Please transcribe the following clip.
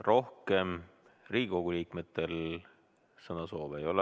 Rohkem Riigikogu liikmetel sõnasoove ei ole.